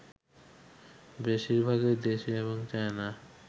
বেশিরভাগই দেশি এবং চায়না